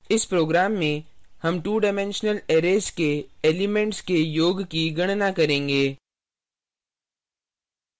इस program में sum 2 dimensional array के elements के योग की गणना करेंगे